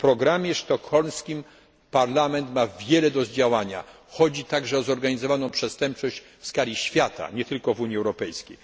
W programie sztokholmskim Parlament ma wiele do zdziałania, chodzi także o zorganizowaną przestępczość w skali świata, nie tylko w Unii Europejskiej.